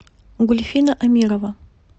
гульфина амирова